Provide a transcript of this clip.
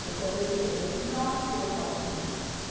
Foi quando ele, ele não, é seu, pode ir.